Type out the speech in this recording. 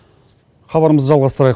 хабарымызды жалғастырайық